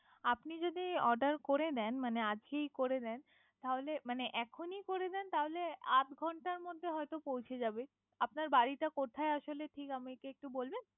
আপনি যদি Order করে নেন। মানে আজকেই করে নেন, তাহলে মানে এখইনি করে নেন। তাহলে আধ ঘন্টার মধ্যে হয়তো পৌছে যাবে। আপনার বাড়ি কোথায় আসলে ঠিক আমাকে একটু বলবেন।